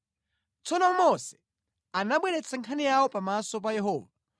Tsono Mose anabweretsa nkhani yawo pamaso pa Yehova